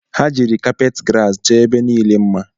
Ha jiri kapeti grasi chọọ ebe niile mma